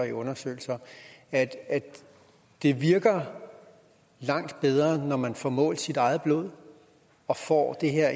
i undersøgelser at det virker langt bedre når man får målt sit eget blod og får